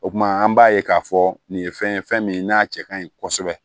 O kuma an b'a ye k'a fɔ nin ye fɛn ye fɛn min n'a cɛ kaɲi kosɛbɛ